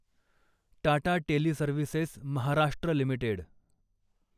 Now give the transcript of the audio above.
Tata teleservices Maharashtra limited